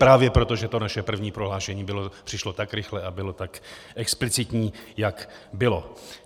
Právě proto, že to naše první prohlášení přišlo tak rychle a bylo tak explicitní, jak bylo.